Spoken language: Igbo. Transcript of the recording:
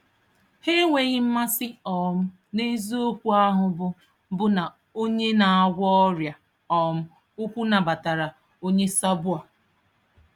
Ha enweghị mmasị um na eziokwu ahụ bụ bụ na Onye na-agwọ ọrịa um ukwu nabatara onye sabo a.